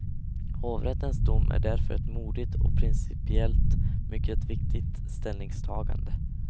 Hovrättens dom är därför ett modigt och principiellt mycket viktigt ställningstagande.